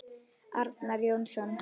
Arnar Jónsson